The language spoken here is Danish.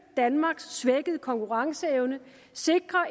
danmarks svækkede konkurrenceevne sikre